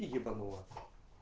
и ебанула